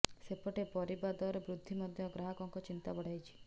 ସେପଟେ ପରିବା ଦର ବୃଦ୍ଧି ମଧ୍ୟ ଗ୍ରହାକଙ୍କ ଚିନ୍ତା ବଢାଇଛି